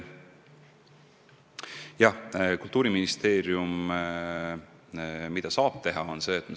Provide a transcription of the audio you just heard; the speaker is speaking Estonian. Jah, Kultuuriministeerium saab midagi teha küll.